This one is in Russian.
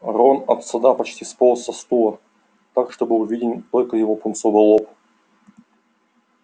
рон от стыда почти сполз со стула так что был виден только его пунцовый лоб